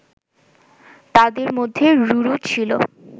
তাদের মধ্যে রুরু ছিল